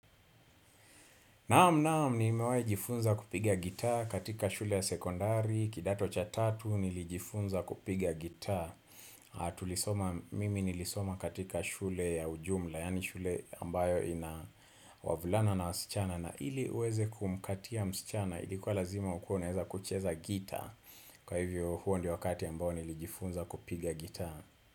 Naam naam nimewahi jifunza kupiga gita katika shule ya sekondari kidato cha tatu nilijifunza kupiga gita Mimi nilisoma katika shule ya ujumla Yani shule ambayo ina wavulana na wasichana na ili uweze kumkatia msichana ilikuwa lazima ukuwe unaweza kucheza gita Kwa hivyo huo ndio wakati ambao nilijifunza kupiga gita.